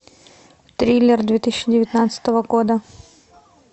триллер две тысячи девятнадцатого года